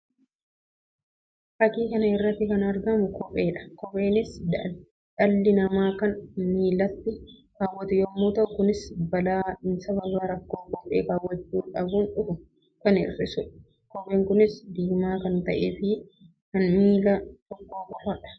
Fakkii kana irratti kan argamu kophee dha. Kopheenis dhalli namaa kan miillatti kaawwatu yammuu ta'u; kunis balaa sababa rakkoo kophee kaawwachuu dhabuun dhufu kan hir'isuu dha. Kooheen kunis diimaa kan ta'ee fi kan miilla tokkoo qofaa dha.